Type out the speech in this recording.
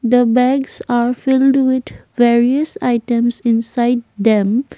the bags are filled with various items inside them.